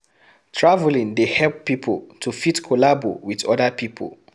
Traveling dey help pipo to fit collabo with other pipo